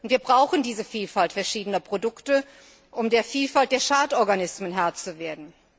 Wir brauchen diese Vielfalt verschiedener Produkte, um der Vielfalt der Schadorganismen Herr zu werden.